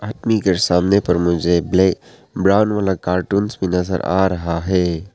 के सामने पर मुझे ब्लैक ब्राउन वाला कार्टून्स भी नजर आ रहा है।